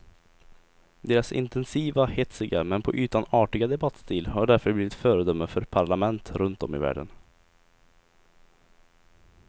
Deras intensiva, hetsiga men på ytan artiga debattstil har därför blivit föredöme för parlament runt om i världen.